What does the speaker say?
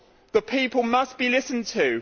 The people must be listened